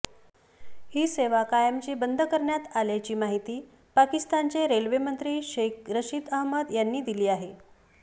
ही सेवा कायमची बंद करण्याची आल्याची माहिती पाकिस्तानचे रेल्वेमंत्री शेख रशिद अहमद यांनी दिली आहे